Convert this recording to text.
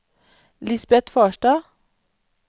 Lisbet Farstad